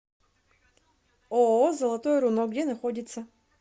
ооо золотое руно где находится